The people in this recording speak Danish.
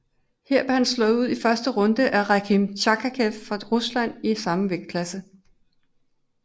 Her blev han slået ud i første runde af Rakhim Chakhkiev fra Rusland i samme vægtklasse